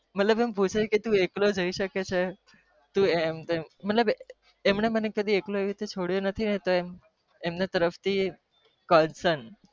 મતલબ અમ પૂછે ક તું એકલો જઈ સકે છે અમ